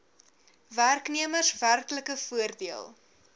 werknemers werklike voordeel